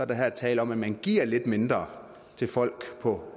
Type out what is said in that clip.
der her tale om at man giver lidt mindre til folk på